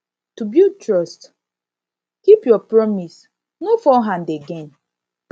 to bulid trust keep your promise no fall hand again